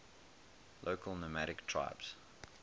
local nomadic tribes